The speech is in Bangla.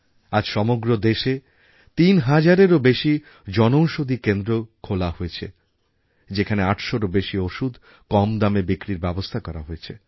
আজ সমগ্র দেশে তিন হাজারের বেশি জনঔষধি কেন্দ্র খোলা হয়েছে যেখানে ৮০০রও বেশি ওষুধ কম দামে বিক্রির ব্যাবস্থা করা হয়েছে